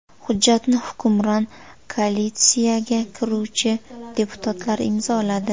Hujjatni hukmron koalitsiyaga kiruvchi deputatlar imzoladi.